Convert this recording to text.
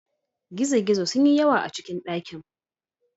Gizo-gizo sun yi yawa a cikin dakin.